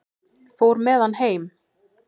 Fór með hann heim.